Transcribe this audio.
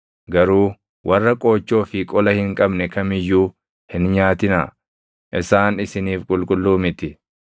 Garuu warra qoochoo fi qola hin qabne kam iyyuu hin nyaatinaa; isaan isiniif qulqulluu miti.